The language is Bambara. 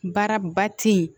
Baara ba ti ye